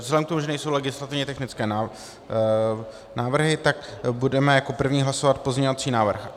Vzhledem k tomu, že nejsou legislativně technické návrhy, tak budeme jako první hlasovat pozměňovací návrh